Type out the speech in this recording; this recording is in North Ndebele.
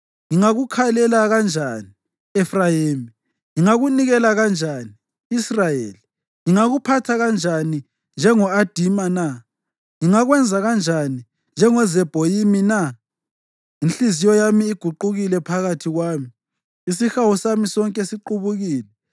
Ngingakukhalela kanjani, Efrayimi? Ngingakunikela kanjani, Israyeli? Ngingakuphatha kanjani njengo-Adima na? Ngingakwenza kanjani, njengoZebhoyimi na? Inhliziyo yami iguqukile phakathi kwami; isihawu sami sonke siqubukile.